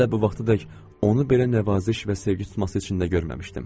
Hələ bu vaxtadək onu belə nəvaziş və sevgi tutması içində görməmişdim.